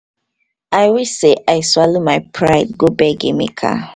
i wish sey i swallow my pride go beg emeka